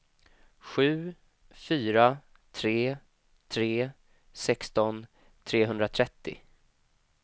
sju fyra tre tre sexton trehundratrettio